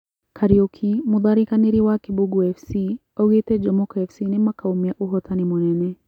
Kariuki; Mũtharĩkanĩri wa Kibugũ Fc augĩte Jomoko Fc nĩmakaumia uhotani Mũnene